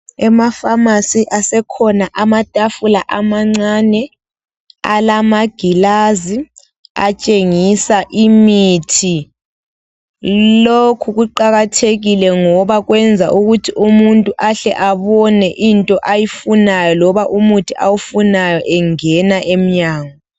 EmaFamasi asekhona amatafula amancane alamagilazi atshengisa imithi. Lokhu kuqakathekile ngoba kwenza ukuthi umuntu ahle abone into ayifunayo loba umuthi awufunayo engena emnyango.